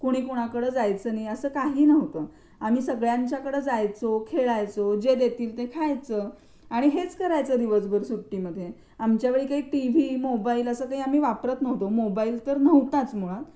कुणी कुणाकड जायचं नाही असं काही नव्हतं आम्ही सगळ्यांच्याकडे जायचो खेळायचो जे देतील ते खायचं आणि हेच करायचं दिवसभर सुट्टीमध्ये आमच्या वेळी काही टिव्ही मोबाईल आम्ही असं काही वापरत नव्हतो. मोबाईल तर नव्हताच मुळात.